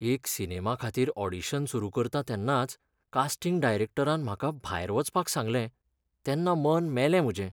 एका सिनेमा खातीर ऑडिशन सुरू करता तेन्नाच कास्टिंग डायरॅक्टरान म्हाका भायर वचपाक सांगलें, तेन्ना मन मेलें म्हजें.